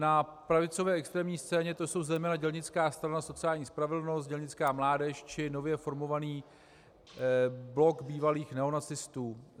Na pravicové extrémní scéně to jsou zejména Dělnická strana sociální spravedlnosti, Dělnická mládež či nově formovaný blok bývalých neonacistů.